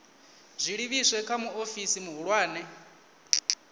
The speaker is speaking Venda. zwi livhise kha muofisi muhulwane